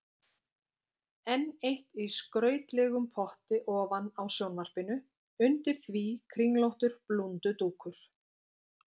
Enn eitt í skrautlegum potti ofan á sjónvarpinu, undir því kringlóttur blúndudúkur.